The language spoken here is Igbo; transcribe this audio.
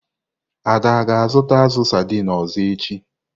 Ada ga-azụta azu saidini ọzọ echi.